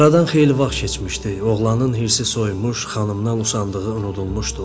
Aradan xeyli vaxt keçmişdi, oğlanın hirsi soyumuş, xanımdan usandığı unudulmuşdu.